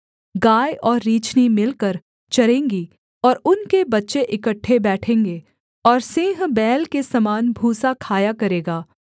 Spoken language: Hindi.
गाय और रीछनी मिलकर चरेंगी और उनके बच्चे इकट्ठे बैठेंगे और सिंह बैल के समान भूसा खाया करेगा